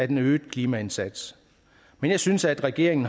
den øgede klimaindsats men jeg synes at regeringen